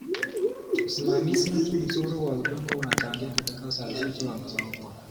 Usimamizi mzuri wa udongo unachangia katika uzalishaji wa mazao bora.